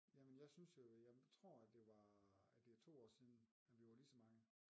Jamen jeg synes jo jeg tror at det var øh at det er 2 år siden at vi var lige så mange